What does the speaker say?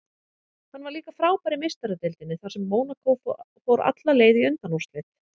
Hann var líka frábær í Meistaradeildinni þar sem Mónakó fór alla leið í undanúrslit.